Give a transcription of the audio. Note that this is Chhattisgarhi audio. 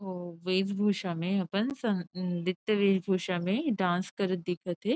ओ वेश भूषा में अपन सन अन् नृत्य वेश भूषा में डांस करत दिखत थे।